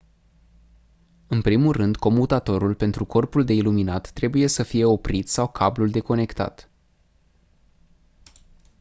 în primul rând comutatorul pentru corpul de iluminat trebuie sa fie oprit sau cablul deconectat